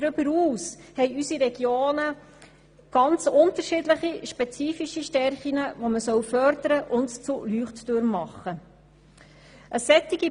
Darüber hinaus haben unsere Regionen ganz unterschiedliche und spezifische Stärken, die man fördern und zu Leuchttürmen machen soll.